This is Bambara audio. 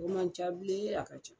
O ma ca bilen a ka ca.